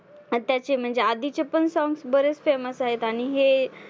त्याचे म्हणजे आधीचे पण songs बरेच same च आहेत आणि हे